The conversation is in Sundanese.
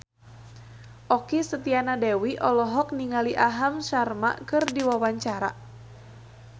Okky Setiana Dewi olohok ningali Aham Sharma keur diwawancara